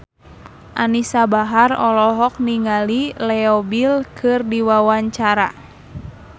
Anisa Bahar olohok ningali Leo Bill keur diwawancara